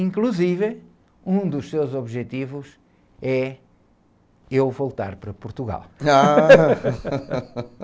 Inclusive, um dos seus objetivos é eu voltar para Portugal.h!